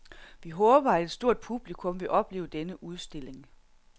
Vi håber, at et stort publikum vil opleve denne udstilling.